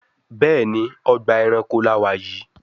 Béèni Ọgbà ẹranko là wá yí.